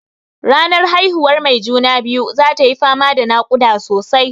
Ranar haihuwan mai juna-biyu zatayi fama da naƙuda sosai.